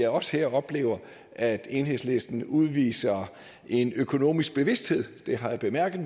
også her oplever at enhedslisten udviser en økonomisk bevidsthed det har jeg bemærket